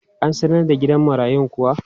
An sanar da gidan marayun kuwa?